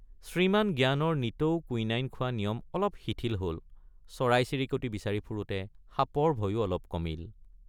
শ্ৰীমান জ্ঞানৰ নিতৌ কুইনাইন খোৱা নিয়ম অলপ শিথিল হল চৰাইচিৰিকতি বিচাৰি ফুৰোঁতে সাপৰ ভয়ো অলপ কমিল।